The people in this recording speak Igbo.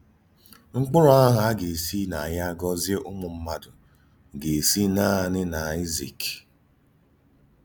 Mkpụrụ àhụ̀ à gà-èsí nà yá gòzìe Ụ́mụ̀mmádụ gà-èsí nanị n’Àịzík.